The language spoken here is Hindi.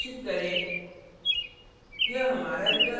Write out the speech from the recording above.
फिर परिणाम घोषित करें